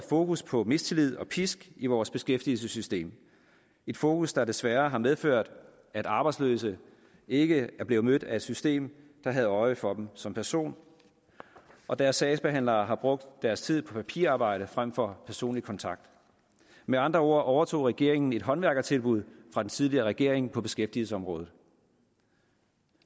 fokus på mistillid og pisk i vores beskæftigelsessystem et fokus der desværre har medført at arbejdsløse ikke er blevet mødt af et system der havde øje for dem som person og deres sagsbehandlere har brugt deres tid på papirarbejde frem for personlig kontakt med andre ord overtog regeringen et håndværkertilbud fra den tidligere regering på beskæftigelsesområdet